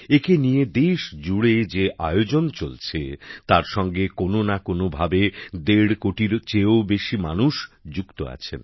একে নিয়ে দেশজুড়ে যে আয়োজন চলছে তার সঙ্গে কোনো না কোনোভাবে দেড় কোটির চেয়েও বেশি মানুষ যুক্ত আছেন